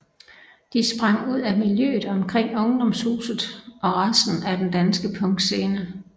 De sprang ud af miljøet omkring Ungdomshuset og resten af den danske punkscene